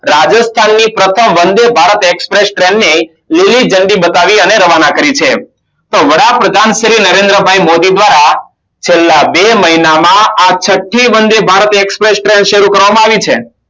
રાજસ્થાનની પ્રથમ Vande Bharat Express train લીલી જાનડી બતાવી અને રવાના કરી છે તો વડાપ્રધાન શ્રી નરેન્દ્રભાઈ મોદી દ્વારા છેલ્લા બે મહિનામાં છઠ્ઠી વંદે ભારત express train સારું કરવામાં આવી છે